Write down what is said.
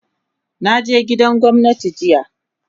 Na je gidan gwamnati jiya